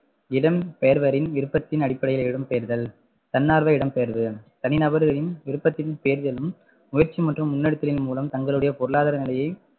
இடம்பெயர்வரின் விருப்பத்தின் அடிப்படையில் இடம்பெயர்தல், தன்னார்வ இடம்பெயர்வு, தனி நபர்களின் விருப்பத்தின் பேர்களும், முயற்சி மற்றும் முன்னெடுத்தலின் மூலம் தங்களுடைய பொருளாதார நிலையை